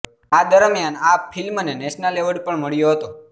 આ દરમ્યાન આ ફિલ્મને નેશનલ એવોર્ડ પણ મળ્યો હતો